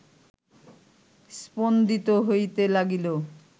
স্পন্দিত হইতে লাগিল